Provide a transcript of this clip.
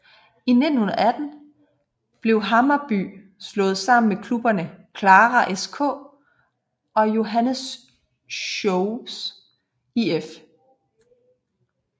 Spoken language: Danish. I 1918 blev Hammarby slået sammen med klubberne Klara SK og Johanneshovs IF